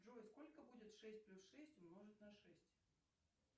джой сколько будет шесть плюс шесть умножить на шесть